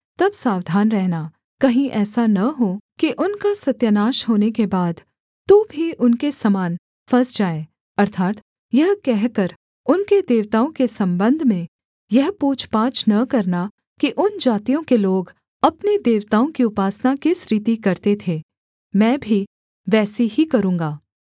तब सावधान रहना कहीं ऐसा न हो कि उनका सत्यानाश होने के बाद तू भी उनके समान फँस जाए अर्थात् यह कहकर उनके देवताओं के सम्बंध में यह पूछपाछ न करना कि उन जातियों के लोग अपने देवताओं की उपासना किस रीति करते थे मैं भी वैसी ही करूँगा